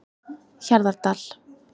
Hjarðardal